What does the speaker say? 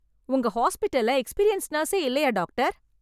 உங்க ஹாஸ்பிடல்ல எக்ஸ்பீரியன்ஸ் நர்ஸே இல்லையா டாக்டர்?